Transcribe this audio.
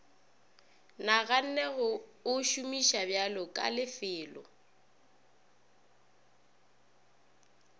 naganne go o šomišabjalo kalefelo